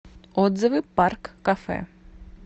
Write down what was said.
отзывы парк кафе